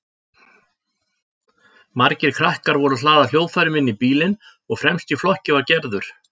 Margir krakkar voru að hlaða hljóðfærum inn í bílinn og fremst í flokki var Gerður.